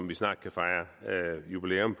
vi snart kan fejre jubilæum